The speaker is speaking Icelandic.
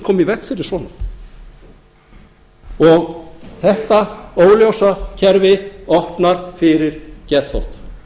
koma í veg fyrir svona þetta óljósa kerfi opnar fyrir geðþótta